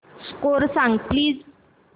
score सांग please